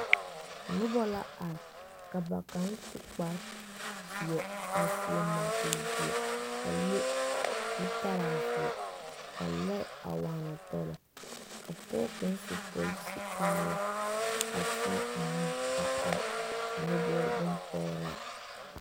Noba are ka ba kaŋa su kpare zeɛ a seɛ munkuri zeɛ a le zutara zeɛ ka loɛ a waana tɔlo ka pɔge kaŋa su polisi kaaya a teɛ o nu a eŋ nyɔbogi boŋ pɔgraa.